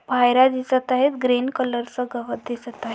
पायर्‍या दिसत आहेत. ग्रीन कलर चं गवत दिसत आहे.